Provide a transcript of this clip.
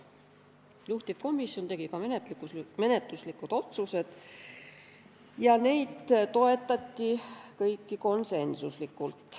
Juhtivkomisjon tegi menetluslikud otsused ja neid kõiki toetati konsensuslikult.